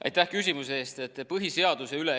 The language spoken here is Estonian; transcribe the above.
Aitäh küsimuse eest!